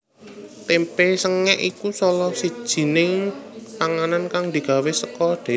Témpé sengèk iku salah sijining panganan kang digawé saka dhelé